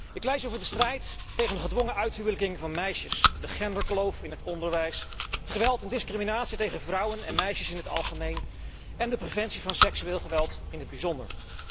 Ik pleit hier voor de strijd tegen de gedwongen uithuwelijking van meisjes, de genderkloof in het onderwijs, het geweld en discriminatie tegen vrouwen en meisjes in het algemeen en de preventie van seksueel geweld in het bijzonder.